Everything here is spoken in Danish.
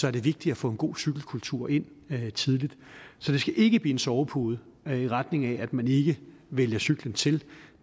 er det vigtigt at få en god cykelkultur ind tidligt så det skal ikke blive en sovepude i retning af at man ikke vælger cyklen til